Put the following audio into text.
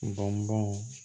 Bɔnbɔn